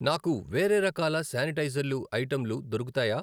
నాకు వేరే రకాల స్యానిటైజర్లు ఐటెంలు దొరుకుతాయా?